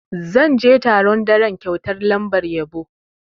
Zan je taron daren kyautar lambar yabo.